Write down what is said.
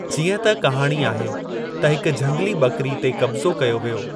जीअं त कहाणी आहे त हिक झंगली ॿकिरी ते क़ब्ज़ो कयो वियो।